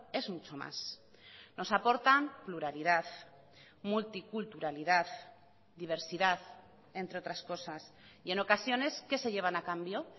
es mucho más nos aportan pluralidad multiculturalidad diversidad entre otras cosas y en ocasiones qué se llevan a cambio